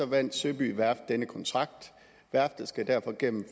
vandt søby værft denne kontrakt værftet skal derfor gennem